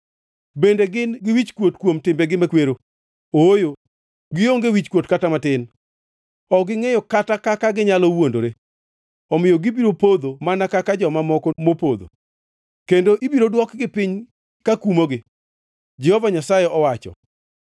Bende gin-gi wichkuot kuom timbegi makwero? Ooyo, gionge wichkuot kata mana matin; ok gingʼeyo kata kaka ginyalo wuondore. Omiyo gibiro podho mana kaka joma moko mopodho; kendo ibiro dwokgi piny kakumogi,” Jehova Nyasaye owacho.